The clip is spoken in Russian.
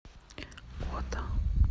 ота